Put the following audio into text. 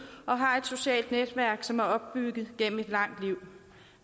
og har et socialt netværk som er opbygget gennem et langt liv